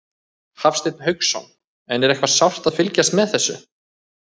Hafsteinn Hauksson: En er eitthvað sárt að fylgjast með þessu?